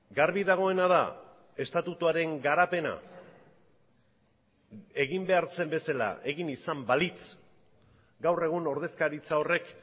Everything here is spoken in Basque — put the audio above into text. garbi dagoena da estatutuaren garapena egin behar zen bezala egin izan balitz gaur egun ordezkaritza horrek